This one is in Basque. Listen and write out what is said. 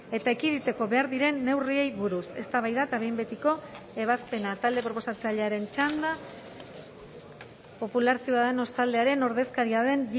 eta ekiditeko behar diren neurriei buruz eztabaida eta behin betiko ebazpena talde proposatzailearen txanda popular ciudadanos taldearen ordezkaria den